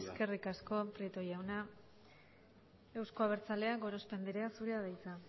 eskerrik asko prieto jauna euzko abertzaleak gorospe andrea zurea da hitza